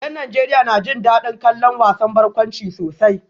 Yan Najeriya na jin dadin kallon wasan barkwanci sosai